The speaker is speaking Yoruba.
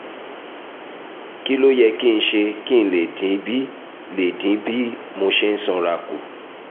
kí ló yẹ kí n ṣe kí n lè dín bí lè dín bí mo ṣe sanra kù?